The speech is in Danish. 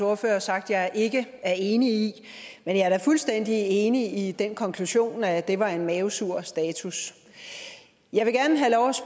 ordfører har sagt jeg ikke er enig i men jeg er da fuldstændig enig i den konklusion at det var en mavesur status jeg vil gerne have lov